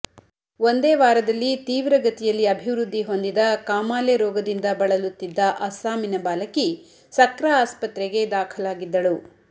ಒಂದೇ ವಾರದಲ್ಲಿ ತೀವ್ರಗತಿಯಲ್ಲಿ ಅಭಿವೃದ್ದಿ ಹೊಂದಿದ ಕಾಮಾಲೆ ರೋಗದಿಂದ ಬಳಲುತ್ತಿದ್ದ ಅಸ್ಸಾಮಿನ ಬಾಲಕಿ ಸಕ್ರ ಆಸ್ಪತ್ರೆಗೆ ದಾಖಲಾಗಿದ್ದಳು